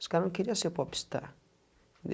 Os cara não queria ser popstar.